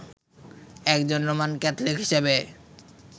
একজন Roman Catholic হিসেবে